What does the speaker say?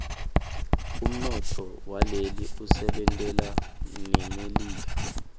umnotfo waleli usebentelana nemelika